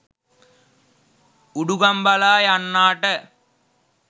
උඩුගංබලා යන්නාට